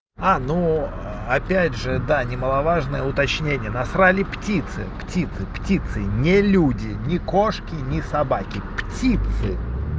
а ну опять же да немаловажное уточнение насрали птицы птицы птицы не люди ни кошки ни собаки птицы